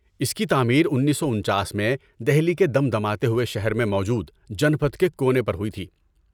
اس کی تعمیر انیسو انچاس میں دہلی کے دمدماتے ہوئے شہر میں موجود جن پتھ کے کونے پر ہوئی تھی